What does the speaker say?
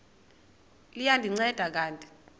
liya ndinceda kanti